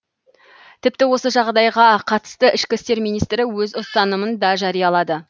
тіпті осы жағдайға қатысты ішкі істер министрі өз ұстанымын да жариялады